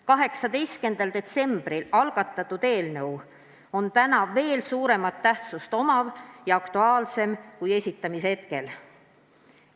18. detsembril algatatud eelnõu on täna veel suurema tähtsusega ja aktuaalsem kui esitamise hetkel.